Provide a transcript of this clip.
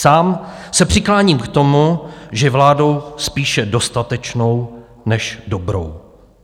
Sám se přikláním k tomu, že vládou spíše dostatečnou než dobrou.